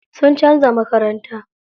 Sun canza makaranta.